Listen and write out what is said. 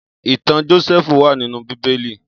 Itàn Jósèfú wà ninú Bibéli